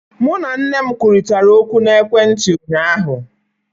Mụ na nne m kwurịtara okwu n'ekwentị ụnyaahụ